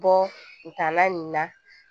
Bɔtaala nin na